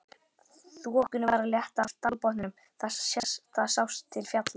Þokunni var að létta af dalbotninum, það sást til fjalla.